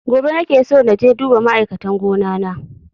Gobe nake so naje duba ma'aikatan gona na